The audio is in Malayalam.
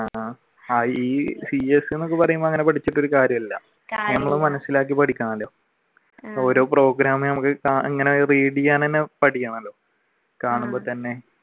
ആഹ് ഈ cs എന്നൊക്കെ പറയുമ്പോൾ അങ്ങനെ പഠിച്ചിട്ട് ഒരു കാര്യവും ഇല്ല ഞമ്മള് മനസിലാക്കി പഠിക്കണം ഓരോ program ഞമ്മക്ക് ഇങ്ങനെ read ചെയ്യാൻ തന്നെ പഠിക്കണമെല്ലോ കാണുമ്പോൾ തന്നെ